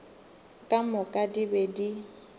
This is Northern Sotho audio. ka moka di be di